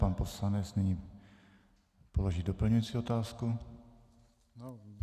Pan poslanec nyní položí doplňující otázku.